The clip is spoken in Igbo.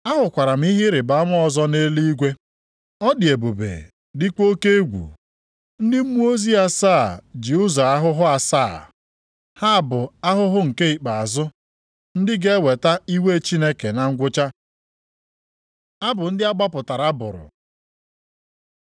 Ahụkwara m ihe ịrịbama ọzọ nʼeluigwe. Ọ dị ebube dịkwa oke egwu. Ndị mmụọ ozi asaa ji ụzọ ahụhụ asaa. Ha bụ ahụhụ nke ikpeazụ ndị ga-eweta iwe Chineke na ngwụcha. Abụ ndị a gbapụtara bụrụ